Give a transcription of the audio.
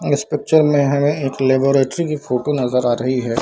अब इस पिक्चर मे हमे एक लेबोरेटरी की फोटो नजर आ रही है |